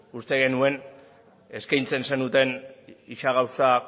uste genuen eskaintzen zenuten ia gauza